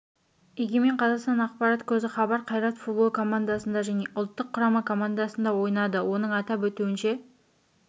егемен қазақстан ақпарат көзі хабар қайрат футбол командасында және ұлттық құрама командасында ойнады оның атап өтуінше